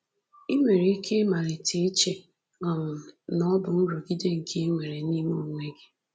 I nwere ike ịmalite iche um na ọ bụ nrụgide nke i nwere n’ime gị.”